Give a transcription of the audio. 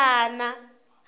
mafarana